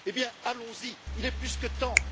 Eh bien, allons y, il est plus que temps!